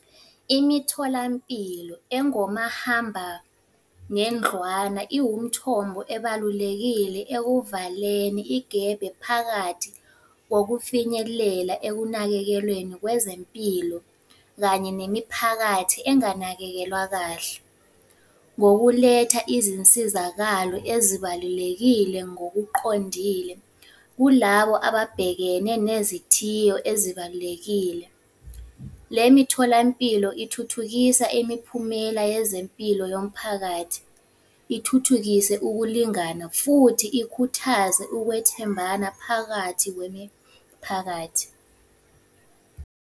Imitholampilo engomahambanendlwana iwumthombo ebalulekile ekuvaleni igebe phakathi kokufinyelela ekunakekelweni kwezempilo, kanye nemiphakathi enganakekelwa kahle. Ngokuletha izinsizakalo ezibalulekile ngokuqondile kulabo ababhekene nezithiyo ezibalulekile. Le mitholampilo ithuthukisa imiphumela yezempilo yomphakathi, ithuthukise ukulingana, futhi ikhuthaze ukwethembana phakathi kwemiphakathi.